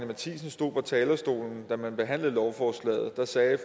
matthiesen stod på talerstolen da vi behandlede lovforslaget sagde